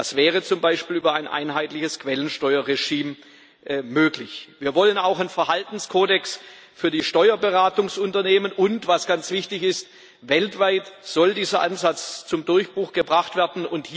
Das wäre zum Beispiel über ein einheitliches Quellensteuerregime möglich. Wir wollen auch einen Verhaltenskodex für die Steuerberatungsunternehmen, und was ganz wichtig ist Dieser Ansatz soll weltweit zum Durchbruch gebracht werden.